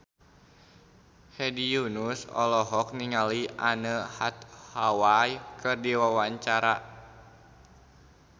Hedi Yunus olohok ningali Anne Hathaway keur diwawancara